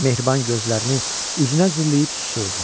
Mehriban gözlərini üzünə zilləyib susurdu.